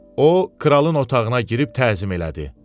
O kralın otağına girib təzim elədi.